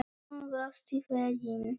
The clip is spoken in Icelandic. Hún brosti fegin.